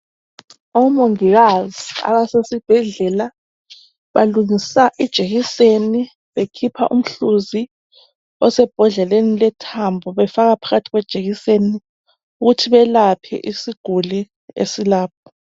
Omongakazi abasesibhedlela balungisa ijekiseni bekhipha umhluzi osembodleleni lethambo befaka phakathi kwejekiseni ukuthu belaphe isiguli esilapha.